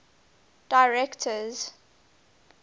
directors